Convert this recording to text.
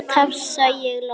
tafsa ég loks.